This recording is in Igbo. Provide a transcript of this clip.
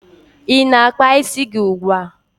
Ị na-akpa isi gi ugbua?